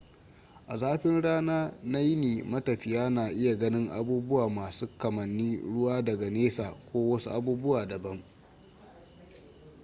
a zafin rana na yini matafiya na iya ganin abubuwa masu kamanin ruwa daga nesa ko wasu abubuwa dabam